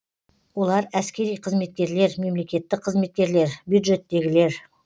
олар әскери қызметкерлер мемлекеттік қызметкерлер бюджеттегілер